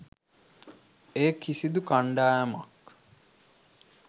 එය කිසිදු කණ්ඩායමක්